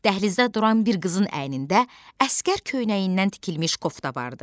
Dəhlizdə duran bir qızın əynində əsgər köynəyindən tikilmiş kofta vardı.